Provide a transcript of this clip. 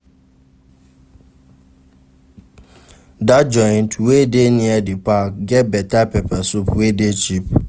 Dat joint wey dey near di park get beta pepper soup wey dey cheap.